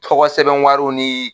Tɔgɔ sɛbɛn wariw ni